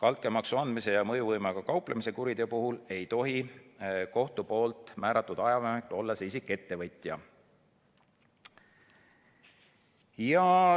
Altkäemaksu andmise ja mõjuvõimuga kauplemise kuriteo puhul ei tohi kohtu määratud ajavahemikul olla see isik ettevõtja.